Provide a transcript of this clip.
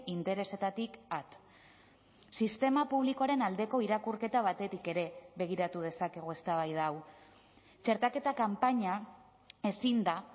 interesetatik at sistema publikoaren aldeko irakurketa batetik ere begiratu dezakegu eztabaida hau txertaketa kanpaina ezin da